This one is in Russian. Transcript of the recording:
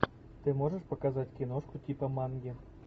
ты можешь показать киношку типа манги